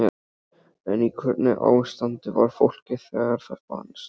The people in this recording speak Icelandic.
En í hvernig ástandi var fólkið þegar það fannst?